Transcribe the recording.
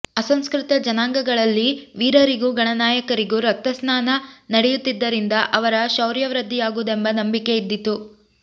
ಅಸಂಸ್ಕೃತ ಜನಾಂಗಗಳಲ್ಲಿ ವೀರರಿಗೂ ಗಣನಾಯಕರಿಗೂ ರಕ್ತಸ್ನಾನ ನಡೆಯುತ್ತಿದ್ದುದರಿಂದ ಅವರ ಶೌರ್ಯವೃದ್ಧಿಯಾಗುವುದೆಂಬ ನಂಬಿಕೆಯಿದ್ದಿತು